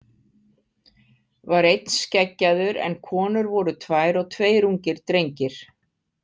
Var einn skeggjaður en konur voru tvær og tveir ungir drengir.